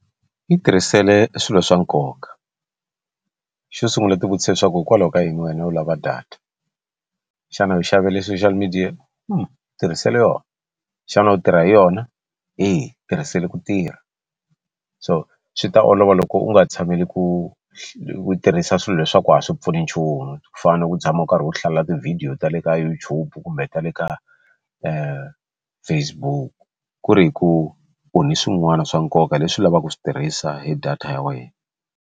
Yi tirhisele swilo swa nkoka xo sungula u ti vutisa leswaku hikwalaho ka yini wena u lava data xana u xavele social media tirhisela yona xana u tirha hi yona eya tirhiseli ku tirha so swi ta olova loko u nga tshameli ku ku tirhisa swilo leswaku a swi pfuni nchumu ku fana na ku tshama u karhi u hlalela tivhidiyo ta le ka YouTube kumbe ta le ka Facebook ku ri hi ku u ni swin'wana swa nkoka leswi lavaka ku swi tirhisa hi data ya wena.